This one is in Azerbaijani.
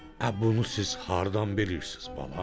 Ə, bunu siz hardan bilirsiz, balam?